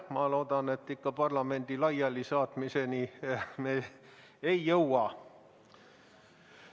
Ma loodan, et parlamendi laialisaatmiseni me ei jõua.